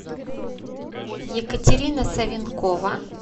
екатерина савенкова